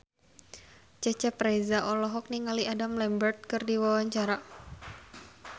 Cecep Reza olohok ningali Adam Lambert keur diwawancara